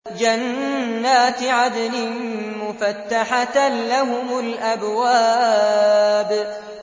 جَنَّاتِ عَدْنٍ مُّفَتَّحَةً لَّهُمُ الْأَبْوَابُ